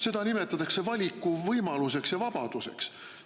Seda nimetatakse valikuvõimaluseks ja vabaduseks.